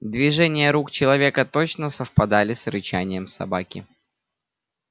движения рук человека точно совпадали с рычанием собаки